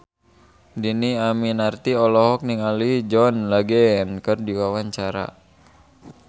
Dhini Aminarti olohok ningali John Legend keur diwawancara